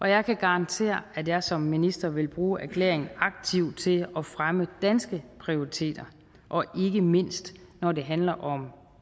jeg kan garantere at jeg som minister vil bruge erklæringen aktivt til at fremme danske prioriteter og ikke mindst når det handler om